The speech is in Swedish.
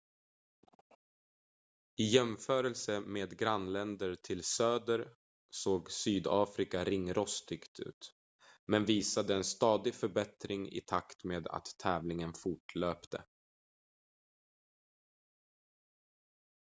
i jämförelse med grannländer till söder såg sydafrika ringrostigt ut men visade en stadig förbättring i takt med att tävlingen fortlöpte